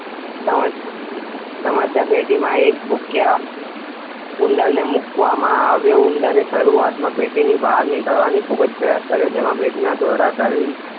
Sam's સમસ્યાપેટીમાં એક ભૂખ્યા ઉંદરને મૂકવામાં આવ્યો. ઉંદરે શરૂઆતમાં પેટીમાંથી બહાર નીકળવાના ખૂબ જ પ્રયાસો કર્યા. જેમાં પેટીમાં દોડાદોડ કરવી